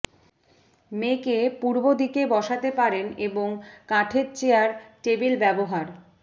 মেয়েকে পূর্ব দিকে বসাতে পারেন এবং কাঠের চেয়ার টেবিল ব্যবহার